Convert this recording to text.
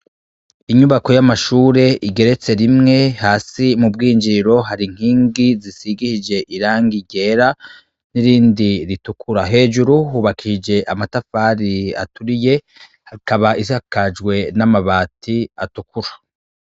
Inyubako y'amashure igeretse rimwe hasi mu bwinjiro hari inkingi zisigishije irangi iryera n'irindi ritukura hejuru hubakije amatafari aturiye hakaba isakajwe n'amabati atukura.